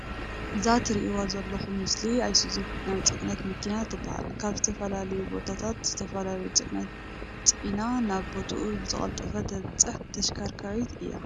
እዛ ትርእዋ ዘሎኩም ምስሊ ኣይሱዚ ናይ ፅዕነት መኪና ትባሃል። ካብ ዝተፈላለዩ ቦታታት ዝተፈላለዩ ፅዕነት ፅዕና ናብ ቦቦትኡ ብዝቀልጠፈ ተባፅሕ ተሽከርካሪት እያ።